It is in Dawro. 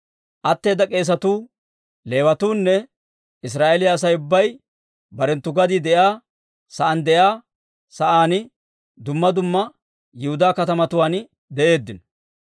Atteeda k'eesatuu, Leewatuunne Israa'eeliyaa Asay ubbay barenttu gadii de'iyaa sa'aan de'iyaa sa'aan dumma dumma Yihudaa katamatuwaan de'eeddino.